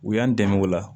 U y'an dɛmɛ o la